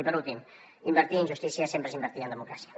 i per últim invertir en justícia sempre és invertir en democràcia